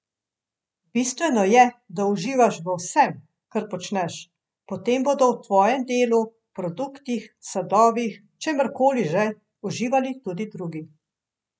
Bistveno je, da uživaš v vsem, kar počneš, potem bodo v tvojem delu, produktih, sadovih, čemerkoli že, uživali tudi drugi.